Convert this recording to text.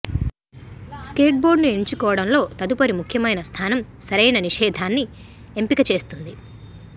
స్కేట్బోర్డును ఎంచుకోవడంలో తదుపరి ముఖ్యమైన స్థానం సరైన నిషేధాన్ని ఎంపిక చేస్తుంది